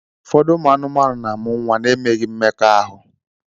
Ụfọdụ ụmụ anụmanụ na-amụ nwa n'emeghi mmekọahụ.